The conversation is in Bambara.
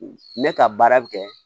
Ne ka baara bɛ kɛ